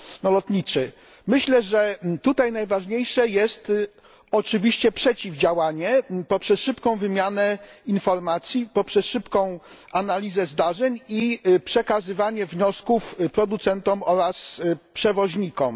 lotniczy. Myślę, że tutaj najważniejsze jest oczywiście przeciwdziałanie poprzez szybką wymianę informacji, szybką analizę zdarzeń i przekazywanie wniosków producentom oraz przewoźnikom.